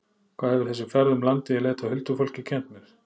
Hvað hefur þessi ferð um landið í leit að huldufólki kennt mér?